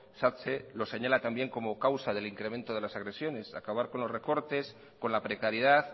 satse lo señala también como causa del incremento de las agresiones acabar con los recortes con la precariedad